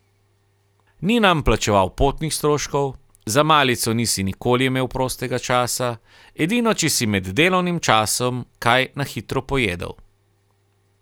Ni nam plačeval potnih stroškov, za malico nisi nikoli imel prostega časa, edino če si med delovnim časom kaj na hitro pojedel.